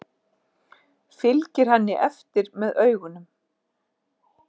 Fylgir henni eftir með augunum.